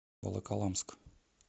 волоколамск